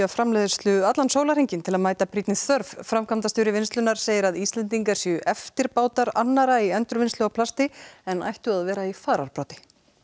framleiðslu allan sólarhringinn til að mæta brýnni þörf framkvæmdastjóri vinnslunnar segir að Íslendingar séu eftirbátar annarra í endurvinnslu á plasti en ættu að vera í fararbroddi